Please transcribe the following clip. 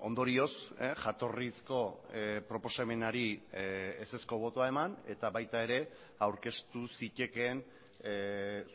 ondorioz jatorrizko proposamenari ezezko botoa eman eta baita ere aurkeztu zitekeen